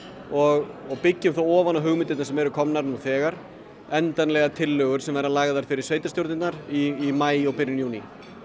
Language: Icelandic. og og byggjum ofan á hugmyndirnar sem eru komnar nú þegar endanlegar tillögur sem verða lagðar fyrir sveitarstjórnirnar í maí og byrjun júní